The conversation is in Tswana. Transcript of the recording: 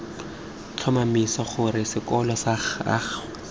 tlhomamisa gore sekolo sag ago